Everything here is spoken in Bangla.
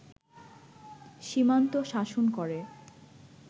সীমান্ত শাসন করে